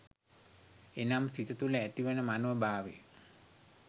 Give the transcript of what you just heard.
එනම් සිත තුළ ඇතිවන මනෝ භාවය